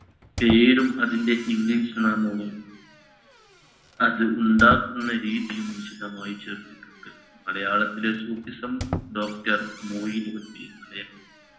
പേരും അതിൻറ english നാമവും അത് ഉണ്ടാക്കുന്ന രീതിയും വിശദമായ് ചേർത്തിട്ടുണ്ട് മലയാളത്തിലെ സൂഫിസം doctor മൊയിൻകുട്ടി